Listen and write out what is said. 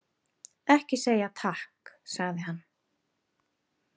Ekki segja takk, sagði hann.